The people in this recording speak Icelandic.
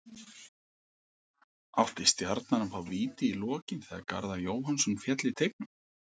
Átti Stjarnan að fá víti í lokin þegar Garðar Jóhannsson féll í teignum?